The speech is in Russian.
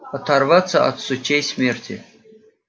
оторваться от сучьей смерти